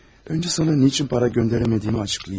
Əvvəlcə sənə nə üçün pul göndərə bilmədiyimi izah edim.